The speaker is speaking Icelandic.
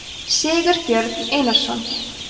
sigurbjörn einarsson